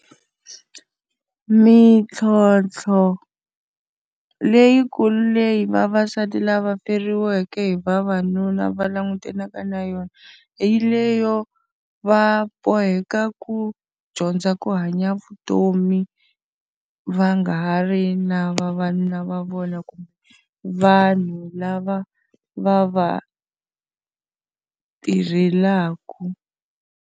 Mintlhontlho leyi ku leyi vavasati lava feriweke hi vavanuna va langutanaka na yona, yi leyo va boheka ku dyondza ku hanya vutomi va nga ha ri na vavanuna va vona kumbe vanhu lava va va tirhelaka.